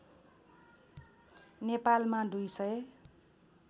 नेपालमा २ सय